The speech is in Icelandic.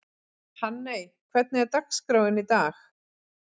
Hanney, hvernig er dagskráin í dag?